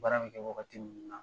Baara bɛ kɛ wagati minnu na.